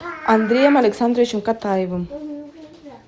андреем александровичем катаевым